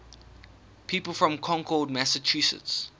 people from concord massachusetts